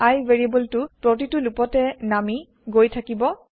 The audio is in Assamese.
I ভেৰিএবল টো প্ৰতিটো লুপতে নামি গৈ থাকিব